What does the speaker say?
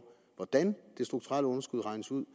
hvordan det strukturelle underskud regnes ud